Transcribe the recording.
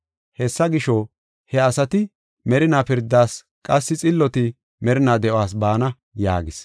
Hessa gisho, he asati merinaa pirdas qassi xilloti merinaa de7uwas baana” yaagis.